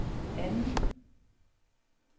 andet